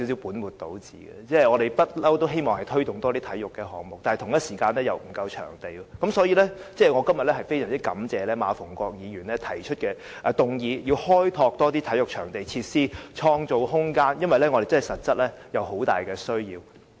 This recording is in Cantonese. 我們一向都希望推動多些體育項目，但場地供應卻不足，所以，我非常感謝馬逢國議員今天提出議案，促請政府要開拓更多體育場地和設施，創造空間，因為我們在這方面實在有很大的需求。